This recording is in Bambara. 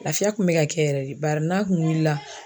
Lafiya kun bɛ ka kɛ yɛrɛ de bari n'a kun wulila.